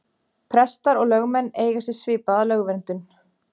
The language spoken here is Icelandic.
Prestar og lögmenn eiga sér svipaða lögverndun.